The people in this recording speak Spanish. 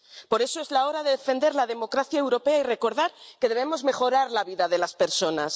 Por eso, es la hora de defender la democracia europea y recordar que debemos mejorar la vida de las personas.